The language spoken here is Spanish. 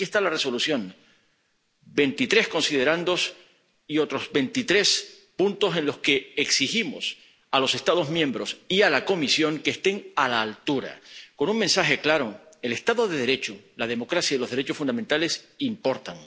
Y aquí está la Resolución veintitrés considerandos y otros veintitrés apartados en los que exigimos a los Estados miembros y a la Comisión que estén a la altura, con un mensaje claro el Estado de Derecho, la democracia y los derechos fundamentales importan